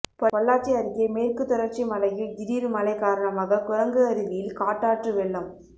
பொள்ளாச்சி அருகே மேற்கு தொடர்ச்சி மலையில் திடீர் மழை காரணமாக குரங்கு அருவியில் காட்டாற்று வெள்ளம்